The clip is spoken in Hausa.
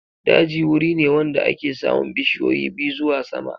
Daji wuri ne wanda ake samun bishiyoyi ɓiyu zuwa sama.